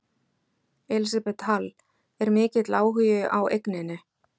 Elísabet Hall: Er mikill áhugi á eigninni?